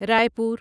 رائے پور